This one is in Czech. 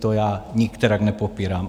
To já nikterak nepopírám.